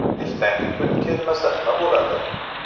Ertangi kun kelmasa nima bo‘ladi?